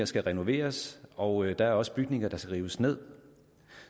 skal renoveres og der er også bygninger der skal rives ned